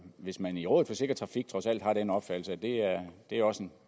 hvis man i rådet for sikker trafik trods alt har den opfattelse at det også